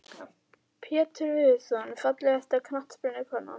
Pétur Viðarsson Fallegasta knattspyrnukonan?